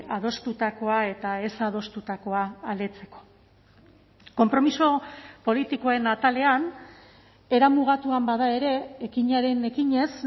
adostutakoa eta ez adostutakoa aldetzeko konpromiso politikoen atalean era mugatuan bada ere ekinaren ekinez